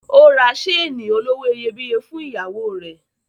Ó ra seeni olówó iyebíye fún ìyàwó rẹ̀.